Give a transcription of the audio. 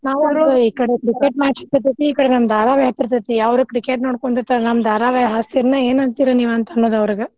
ನಾವು ಅಂತೇವ್ ಈ ಕಡೆ cricket match ಹಚ್ಚಿರ್ತೇತಿ ಈ ಕಡೆ ನಮ್ ಧಾರವಾಹಿ ಹತ್ತಿರತೇತಿ. ಅವ್ರ cricket ನೋಡ್ಕುಂತಿರತಾರ ನಮ್ ಧಾರಾವಾಯಿ ಹಚ್ಚತಿರೇನ ಏನಂತಿರ ಅನ್ನೋದ್ ಅವ್ರಿಗ.